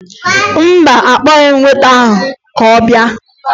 Mba, akpọghị m weta ahụ ka ọ bịa